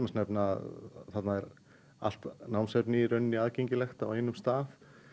nefna að þarna er allt námsefni aðgengilegt á einum stað